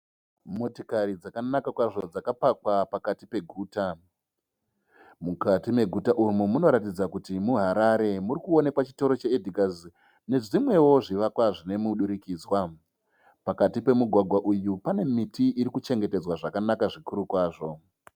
Motikari dzakanaka kwazvo dzakapakwa pakati peguta. Mukati meguta umu munoratidza kuti muHarare. Muri kuonekwa chitoro che Edhigazi nezvimwewo zvifakwa zvine mudurikidzwa. Pakati pemugwagwa uyu pane miti iri kuchengetedzaw zvakanaka zvikuru kwazvo.